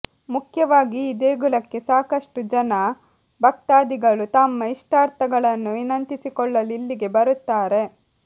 ಮುಖ್ಯವಾಗಿ ಈ ದೇಗುಲಕ್ಕೆ ಸಾಕಷ್ಟು ಜನ ಭಕ್ತಾದಿಗಳು ತಮ್ಮ ಇಷ್ಟಾರ್ಥಗಳನ್ನು ವಿನಂತಿಸಿಕೊಳ್ಳಲು ಇಲ್ಲಿಗೆ ಬರುತ್ತಾರೆ